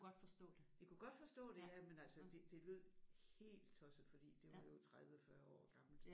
De kunne godt forstå det ja men altså det det lød helt tosset fordi det var jo 30 40 år gammelt